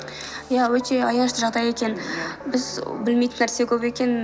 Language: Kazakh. иә өте аянышты жағдай екен біз білмейтін нәрсе көп екен